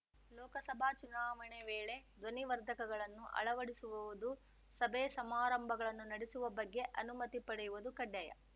ಲೋಕಸಭಾ ಚುನಾವಣೆ ವೇಳೆ ಧ್ವನಿವರ್ಧಕಗಳನ್ನು ಅಳವಡಿಸುವುದು ಸಭೆ ಸಮಾರಂಭಗಳನ್ನು ನಡೆಸುವ ಬಗ್ಗೆ ಅನುಮತಿ ಪಡೆಯುವುದು ಕಡ್ಡಾಯ